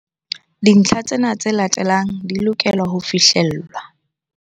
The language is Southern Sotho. Dintlha tsena tse latelang di lokela ho fihlellwa.